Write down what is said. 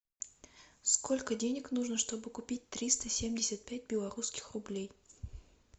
сколько денег нужно чтобы купить триста семьдесят пять белорусских рублей